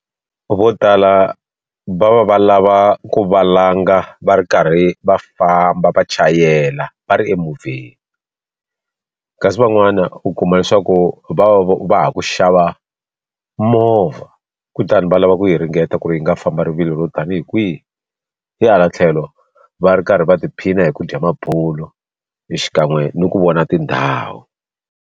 Vo tala va va va lava ku va langa va ri karhi va famba va chayela va ri emovheni kasi van'wana u kuma leswaku va va ha ku xava movha kutani va lava ku yi ringeta ku ri yi nga famba rivilo ro tanihi kwihi hi hala tlhelo va ri karhi va tiphina hi ku dya mabulo xikan'we ni ku vona tindhawu.